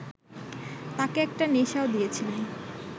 তাঁকে একটা নেশাও দিয়েছিলেন